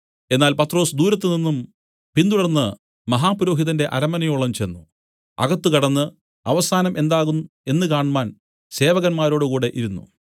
എന്നാൽ പത്രൊസ് ദൂരത്ത് നിന്നും പിൻതുടർന്നു മഹാപുരോഹിതന്റെ അരമനയോളം ചെന്ന് അകത്ത് കടന്ന് അവസാനം എന്താകും എന്ന് കാണ്മാൻ സേവകന്മാരോടുകൂടി ഇരുന്നു